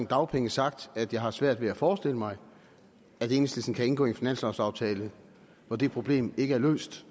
dagpenge sagt at jeg har svært ved at forestille mig at enhedslisten kan indgå i en finanslovaftale hvor det problem ikke er løst